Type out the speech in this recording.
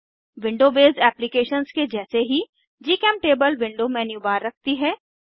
window based applications के जैसे ही जीचेमटेबल विंडो मेन्यूबार रखती है